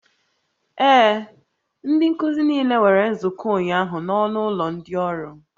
Ee, ndị nkuzi niile nwere nzukọ ụnyaahụ na ọnụ ụlọ ndị ọrụ